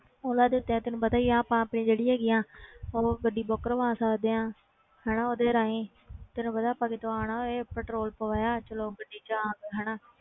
ਓਲਾ ਦੇ ਉੱਤੇ ਤੈਨੂੰ ਪਤਾ ਹੀ ਆ ਆਪਾਂ ਆਪਣੀ ਜਿਹੜੀ ਹੈਗੀ ਆ ਉਹ ਗੱਡੀ book ਕਰਵਾ ਸਕਦੇ ਹਾਂ ਹਨਾ ਉਹਦੇ ਰਾਹੀਂ ਤੈਨੂੰ ਪਤਾ ਆਪਾਂ ਕਿਤੋਂ ਆਉਣਾ ਇਹ ਪੈਟਰੋਲ ਪਵਾਇਆ ਚਲੋ ਗੱਡੀ 'ਚ ਆ ਗਏ ਹਨਾ,